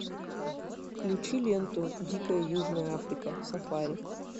включи ленту дикая южная африка сафари